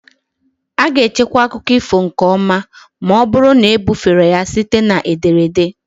A ga-echekwa akụkọ ifo nke ọma ma ọ bụrụ na ebufere ya site na ederede.